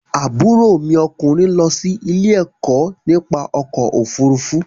Àbúrò mi ọkùnrin lọ sí ilé-ẹ̀kọ́ nípa ọkọ̀-ofurufú.